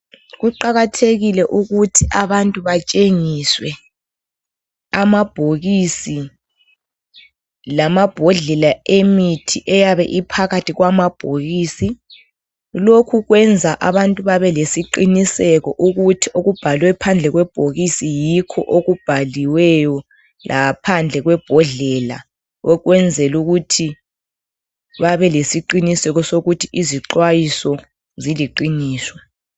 Kuqakathekile ukuthi abantu batshengiswe amabhokisi lamabhodlela emithi eyabe iphakathi kwamabhokisi lokhu kwenza abantu babelesiqiniseko ukuthi okubhaliwe phandle kwebhokisi yikho okubhaliweyo laphandle kwebhodlela okwenzela ukuthi babe lesiqiniseko sokuthi izixwayiso ziliqiniso.